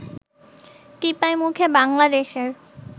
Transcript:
টিপাইমুখে বাংলাদেশের